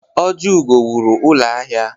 Ojiugo wụrụ ụlọ ahịa.